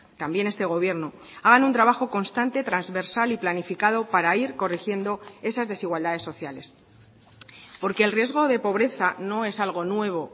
también este gobierno hagan un trabajo constante transversal y planificado para ir corrigiendo esas desigualdades sociales porque el riesgo de pobreza no es algo nuevo